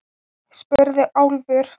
spurði Álfur.